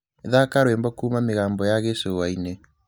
thaka rwīmbo kuma mīgambo ya gīcūwaīne